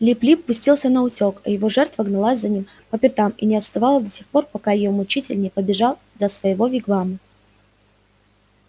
лип лип пустился наутёк а его жертва гналась за ним по пятам и не отстала до тех пор пока её мучитель не добежал до своего вигвама